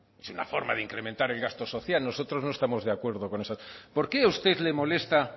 verdad es una forma de incrementar el gasto social nosotros no estamos de acuerdo con eso por qué a usted le molesta